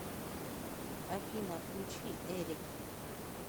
афина включи эрик